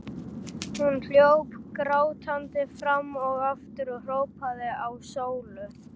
Hún hljóp grátandi fram og aftur og hrópaði á Sólu.